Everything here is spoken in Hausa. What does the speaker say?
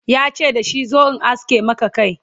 yace dashi "zo in aske Maka Kai!